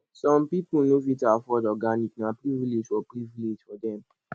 some pipo no fit afford organic na privilege for privilege for dem